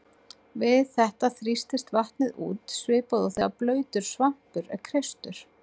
Við þetta þrýstist vatnið út svipað og þegar blautur svampur er kreistur.